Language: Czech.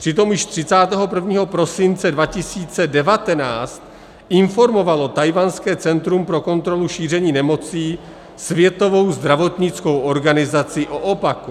Přitom již 31. prosince 2019 informovalo tchajwanské Centrum pro kontrolu šíření nemocí Světovou zdravotnickou organizaci o opaku.